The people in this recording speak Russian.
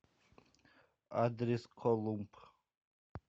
адрес колумб